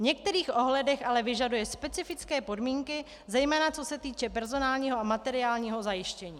V některých ohledech ale vyžaduje specifické podmínky, zejména co se týče personálního a materiálního zajištění.